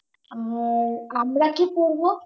আহ আমরা কি পরবো